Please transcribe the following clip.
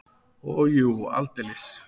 Og jú, aldeilis!